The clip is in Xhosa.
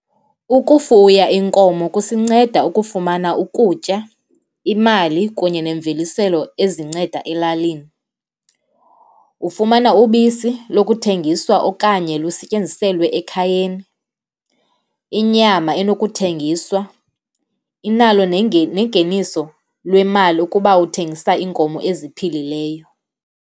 Ukufuya iinkomo kusinceda ukufumana ukutya, imali kunye neemveliselo ezinceda elalini. Ufumana ubisi lokuthengiswa okanye lusetyenziselwe ekhayeni, inyama eyokuthengiswa, inalo nengeniso lwemali ukuba uthengisa iinkomo eziphilileyo.